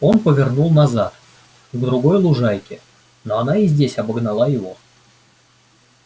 он повернул назад к другой лужайке но она и здесь обогнала его